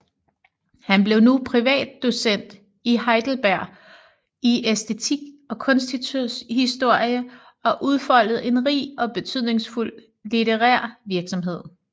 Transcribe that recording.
Han blev nu privatdocent i Heidelberg i æstetik og kunsthistorie og udfoldede en rig og betydningsfuld litterær virksomhed